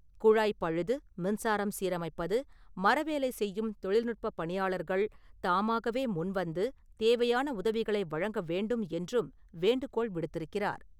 குழாய் பழுது, மின்சாரம் சீரமைப்பது, மரவேலை செய்யும் தொழில்நுட்ப பணியாளர்கள் தாமாகவே முன்வந்து, தேவையான உதவிகளை வழங்க வேண்டும் என்றும் வேண்டுகோள் விடுத்திருக்கிறார்.